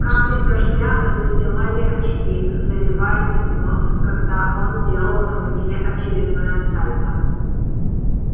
капли дождя застилали очки заливаясь в нос когда он делал на метле очередное сальто